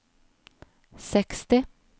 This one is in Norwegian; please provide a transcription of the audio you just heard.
seksti